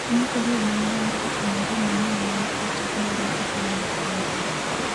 piny Korea ma milambo ofwenyo mbom manyien ma ni kod teko maduong' e piny mangima